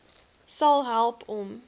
sal help om